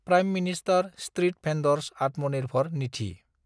prime minister street vendor's Atmanirbhar Nidhi